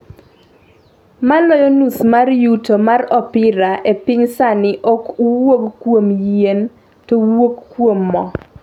Maloyo nus mar yuto mar opira e piny sani ok wuog kuom yien, to wuok kuom mo.